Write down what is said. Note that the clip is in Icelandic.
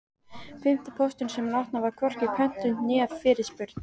Fimmti pósturinn sem hann opnaði var hvorki pöntun né fyrirspurn.